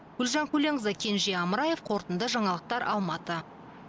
гүлжан көленқызы кенже амраев қорытынды жаңалықтар алматы